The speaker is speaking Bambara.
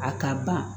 A ka ban